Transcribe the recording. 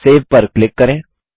save पर click करें